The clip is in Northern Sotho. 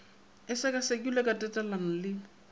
e sekasekilwe ka tatelano le